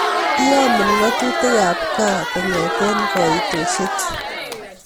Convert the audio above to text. Iyamen ng'atutik ab ohm kong'eten kaitoshechu